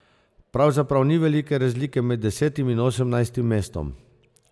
Pravzaprav ni velike razlike med desetim in osemnajstim mestom.